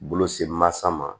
Bolo semansa ma